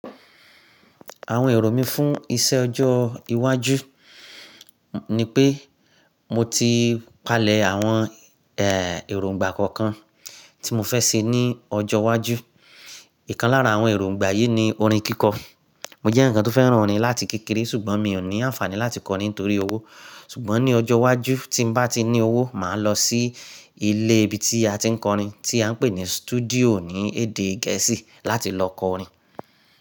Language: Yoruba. Àwọn èrò mí fún iṣẹ ọjọ́ iwájú ni pé mo ti palẹ̀ àwọn èròǹgbà kọ̀ọ̀kan tí mo fẹ́ ṣe ní ọjọ́ wájú. Ìkan lára àwọn èròǹgbà yí ni orin kíkọ. Mo jẹ́ ǹkan tó fẹ́ràn orin láti kékeré ṣùgbọ́n mi ò ní àǹfààní láti kọ orin nítorí owó. Ṣùgbọ́n ní ọjọ́ iwájú tí n bá ti ní owó máà lọ sí ilé ibi tí a ti ń kọ orin tí à ń pè ní studio ní èdè Gẹ̀ẹ́sì láti lọ kọ orin.